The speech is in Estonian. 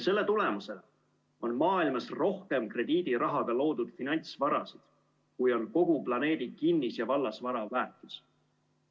Selle tulemusel on maailmas rohkem krediidirahaga loodud finantsvarasid, kui on kogu planeedi kinnis- ja vallasvara väärtus.